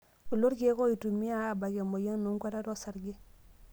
Kulo ilkeek oitumiyai aabak emoyian enkuatata osarge.